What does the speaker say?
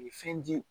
Fɛn di